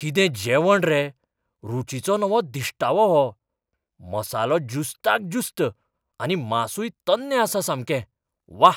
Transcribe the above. कितें जेवण रे! रूचीचो नवो दिश्टावो हो. मसालो ज्युस्ताक ज्युस्त आनी मांसूय तन्नें आसा सामकें. व्वा!